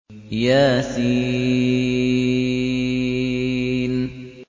يس